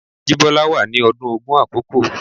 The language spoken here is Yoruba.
Jibola wà ní ọdún ogún àkókò.